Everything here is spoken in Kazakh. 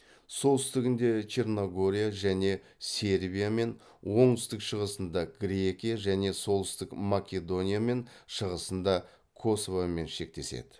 солтүстігінде черногория және сербиямен оңтүстік шығысында грекия және солтүстік македониямен шығысында косовомен шектеседі